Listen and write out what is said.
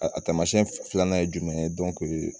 A taamasiyɛn filanan ye jumɛn ye